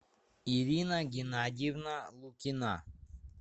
ирина геннадьевна лукина